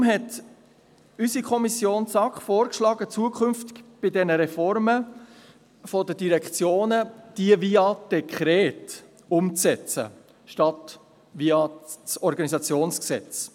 Deshalb hat die SAK vorgeschlagen, zukünftig bei Reformen der Direktionen diese via Dekret umzusetzen anstatt via Organisationsgesetz.